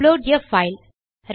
upload a file